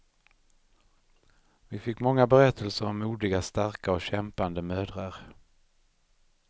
Vi fick många berättelser om modiga, starka och kämpande mödrar.